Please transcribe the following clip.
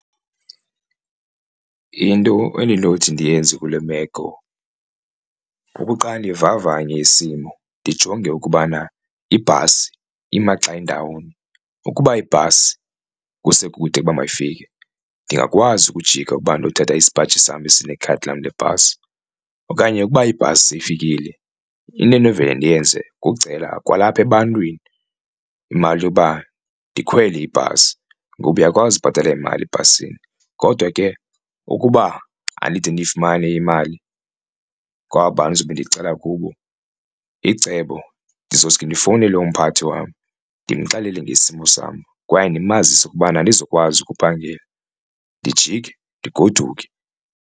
Into endinothi ndiyenze kule meko okokuqala ndivavanye isimo ndijonge ukubana ibhasi imaxa indawoni ukuba ibhasi kusekude ukuba mayifike ndingakwazi ukujika ukuba ndiyothatha isipaji sam esinekhadi lam lebhasi, okanye ukuba ibhasi seyifikile into enovela ndiyenze kukucela kwalapha ebantwini imali yoba ndikhwele ibhasi ngokuba uyakwazi ubhatala imali ebhasini. Kodwa ke ukuba andide ndiyifumane imali kwaba bantu ndizobe ndicela kubo icebo ndizosuka ndifowunele umpathi wam ndimxelele isimo sam kwaye ndimazise ukubana andizokwazi ukuphangela ndijike ndigoduke.